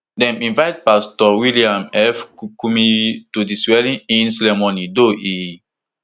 dem invite pastor william f kumuyi to di swearingin ceremony though e